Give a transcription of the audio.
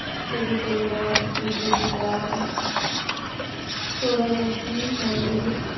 ছবি তুললাম, পূজো দিলাম, তোরা যাসনি মন্দিরে?